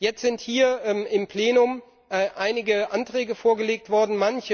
Jetzt sind hier im Plenum einige Anträge vorgelegt worden.